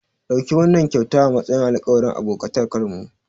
Ɗauki wannan kyauta a matsayin alƙawarin abokantakarmu.